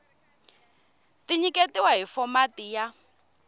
ti nyiketiwa hi fomati ya